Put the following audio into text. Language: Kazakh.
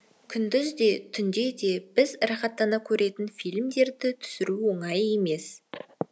күндіз де түнде де біз рахаттана көретін фильмдерді түсіру оңай емес